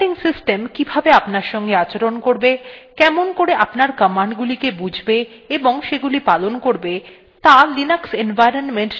operating system কিভাবে আপনার সঙ্গে আচরণ করবে কেমন করে আপনার commands গুলিকে বুঝবে এবং সেগুলি পালন করবে ত়া linux environment নির্ধারিত করে